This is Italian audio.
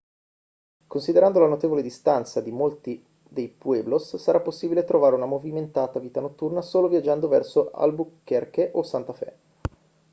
considerando la notevole distanza di molti dei pueblos sarà possibile trovare una movimentata vita notturna solo viaggiando verso albuquerque o santa fe